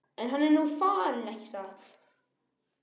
En nú er hann farinn, ekki satt?